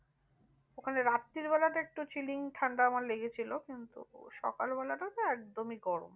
ওখানে রাত্রিবেলাটা একটু chilling ঠান্ডা আমার লেগেছিল। কিন্তু সকাল বেলাটা তো একদমই গরম।